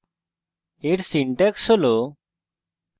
এর syntax হল: